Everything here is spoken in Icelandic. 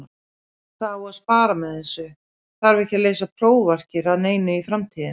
Það á að spara með þessu, þarf ekki að lesa prófarkir að neinu í framtíðinni.